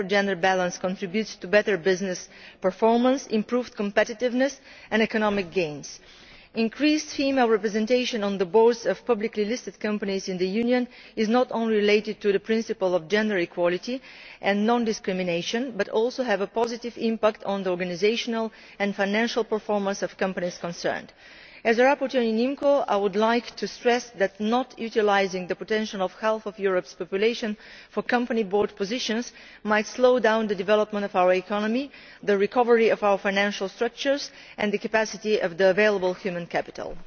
better gender balance contributes to better business performance, improved competitiveness and economic gains. Increased female representation on the boards of publicly listed companies in the Union is not only related to the principle of gender equality and non discrimination, but also to a positive impact on the organisational and financial performance of companies concerned. As a rapporteur in IMCO, I would like to stress that not utilising the potential of half of Europe's population for company board positions might slow down the development of our economy, the recovery of our financial structures and harnessing of the capacity of the available human capital.